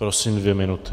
Prosím, dvě minuty.